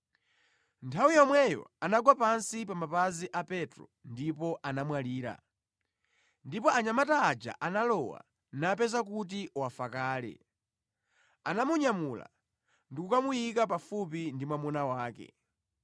Nthawi yomweyo anagwa pansi pa mapazi a Petro ndipo anamwalira. Ndipo anyamata aja analowa, napeza kuti wafa kale, anamunyamula ndi kukamuyika pafupi ndi mwamuna wake.